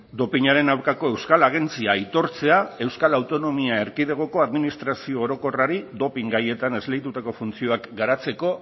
dopinaren aurkako euskal agentzia aitortzea euskal autonomia erkidegoko administrazio orokorrari dopin gaietan esleitutako funtzioak garatzeko